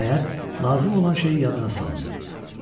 Nəhayət, lazım olan şeyi yadına saldı.